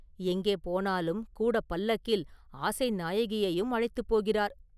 எங்கே போனாலும் கூடப் பல்லக்கில் ஆசை நாயகியையும் அழைத்துப் போகிறார்.